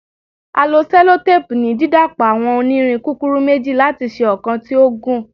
A lo sellotape ni didapọ awọn onirin kukuru meji lati ṣe ọkan ti o gun